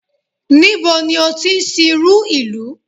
Níbo ni o ti sìnrú ìlú?